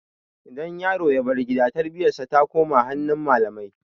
Idan yaro ya bar gida tarbiyyar sa ta koma hannun malamai